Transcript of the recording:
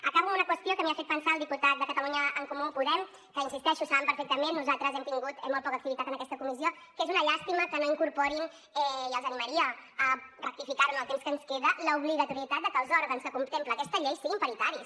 acabo amb una qüestió que m’hi ha fet pensar el diputat de catalunya en comú podem que hi insisteixo saben perfectament que nosaltres hem tingut molt poca activitat en aquesta comissió és una llàstima que no hi incorporin i els animaria a rectificar ho en el temps que ens queda l’obligatorietat de que els òrgans que contempla aquesta llei siguin paritaris